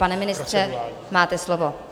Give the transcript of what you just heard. Pane ministře, máte slovo.